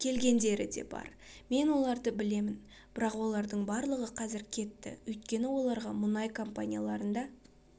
келгендері де бар мен оларды білемін бірақ олардың барлығы қазір кетті өйткені оларға мұнай компанияларында